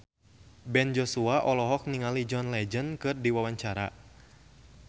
Ben Joshua olohok ningali John Legend keur diwawancara